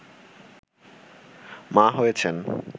মা হয়েছেন